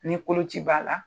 Ni koloci b'a la,